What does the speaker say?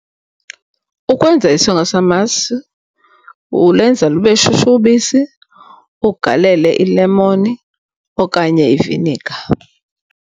Ukwenza isonka samasi ulenza lube shushu ubisi, ugalele ilemoni okanye iviniga.